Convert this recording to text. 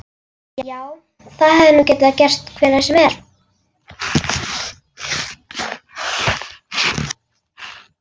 Já, það hefði nú getað gerst hvenær sem er.